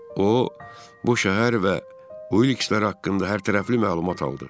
O bu şəhər və Ulikslər haqqında hərtərəfli məlumat aldı.